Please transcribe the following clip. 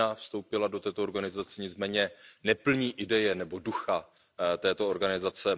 Čína vstoupila do této organizace, nicméně neplní ideje nebo ducha této organizace.